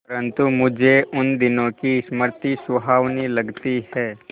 परंतु मुझे उन दिनों की स्मृति सुहावनी लगती है